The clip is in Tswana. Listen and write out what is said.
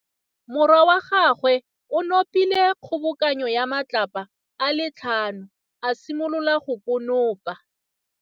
Morwa wa gagwe o nopile kgobokanô ya matlapa a le tlhano, a simolola go konopa.